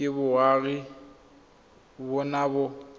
ke boagi ba bona ba